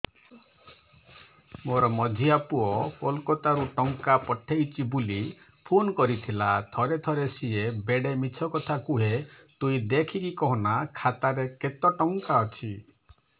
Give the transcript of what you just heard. ମୋର ମଝିଆ ପୁଅ କୋଲକତା ରୁ ଟଙ୍କା ପଠେଇଚି ବୁଲି ଫୁନ କରିଥିଲା ଥରେ ଥରେ ସିଏ ବେଡେ ମିଛ କଥା କୁହେ ତୁଇ ଦେଖିକି କହନା ଖାତାରେ କେତ ଟଙ୍କା ଅଛି